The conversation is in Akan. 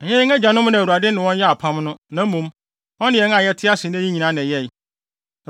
Ɛnyɛ yɛn agyanom na Awurade ne wɔn yɛɛ apam no, na mmom, ɔne yɛn a yɛte ase nnɛ yi nyinaa na ɛyɛe.